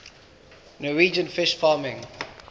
norwegian fish farming